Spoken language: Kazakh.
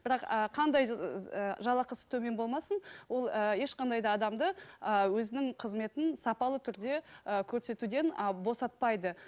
бірақ ы қандай жалақысы төмен болмасын ол ы ешқандай да адамды ы өзінің қызметін сапалы түрде ы көрсетпеуден ы босатпайды